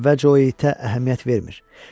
Əvvəlcə o itə əhəmiyyət vermir.